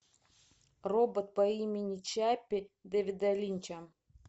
робот по имени чаппи дэвида линча